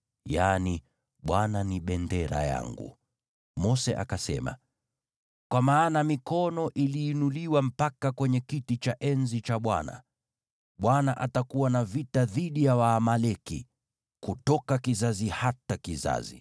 Mose akasema, “Kwa maana mikono iliinuliwa mpaka kwenye kiti cha enzi cha Bwana . Bwana atakuwa na vita dhidi ya Waamaleki kutoka kizazi hata kizazi.”